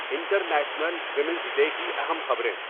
international women's day کی اہم خبریں